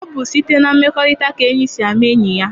Ọ bụ site na mmekọrịta ka enyi sị ama enyi ya.